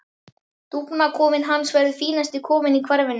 Dúfnakofinn hans verður fínasti kofinn í hverfinu.